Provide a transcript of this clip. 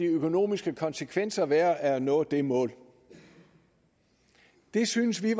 økonomiske konsekvenser vil være af at nå de mål det synes vi